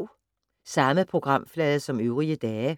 Samme programflade som øvrige dage